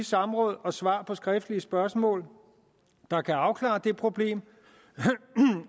samråd og svar på skriftlige spørgsmål der kan afklare det problem